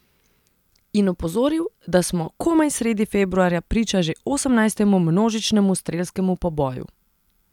In opozoril, da smo komaj sredi februarja priča že osemnajstemu množičnemu strelskemu poboju.